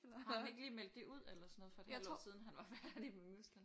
Har han ikke lige meldt det ud eller sådan noget for et halvt år siden han var færdig med musical?